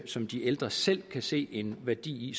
som de ældre selv kan se en værdi i